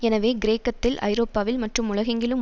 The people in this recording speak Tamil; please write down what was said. எனவே கிரேக்கத்தில் ஐரோப்பாவில் மற்றும் உலகெங்கிலும்